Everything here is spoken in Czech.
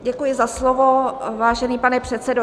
Děkuji za slovo, vážený pane předsedo.